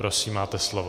Prosím, máte slovo.